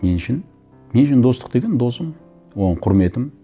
мен үшін мен үшін достық деген досым оған құрметім